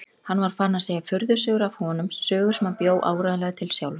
Hann var farinn að segja furðusögur af honum, sögur sem hann bjó áreiðanlega til sjálfur.